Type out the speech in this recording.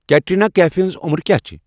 Katrina کیفِہ ہٕنٛز عُمر کیا چِھ ؟